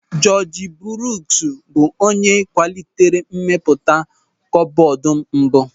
Jọọji Bruuks bụ onye kwalitere mmepụta kọkbọọdụ mbụ.